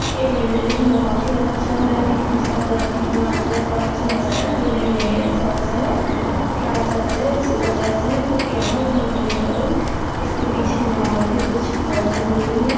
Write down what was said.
ये बिल्डिंग बहुत ही अच्छा है इसका कलर कितना अच्छा है चर्च है शायद बिल्डिंग नहीं है चर्च है क्या चर्च है यीशु का चर्च है फिर क्या है मेरे को नहीं मालूम इसके पीछे में और भी कुछ बड़ा सा बिल्डिंग है ।